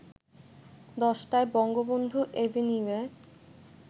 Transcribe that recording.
১০টায় বঙ্গবন্ধু এভিনিউয়ে